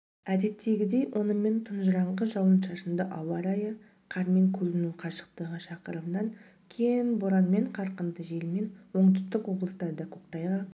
әдеттегідей онымен тұңжыраңқы жауын-шашынды ауа-райы қармен көріну қашықтығы шақырымнан кем боранмен қарқынды желмен оңтүстік облыстарда көктайғақ